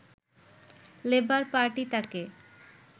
labour party তাঁকে